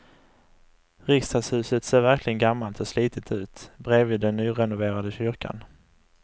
Riksdagshuset ser verkligen gammalt och slitet ut bredvid den nyrenoverade kyrkan.